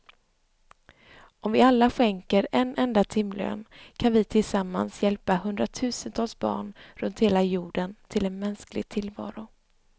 Om vi alla skänker en enda timlön kan vi tillsammans hjälpa hundratusentals barn runt hela jorden till en mänsklig tillvaro.